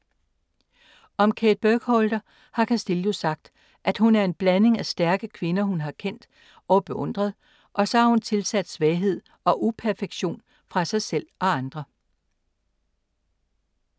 Om Kate Burkholder har Castillo sagt, at hun er en blanding af stærke kvinder, hun har kendt og beundret og så har hun tilsat svaghed og uperfektion fra sig selv og andre.